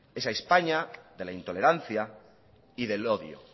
esa españa de la intolerancia y del odio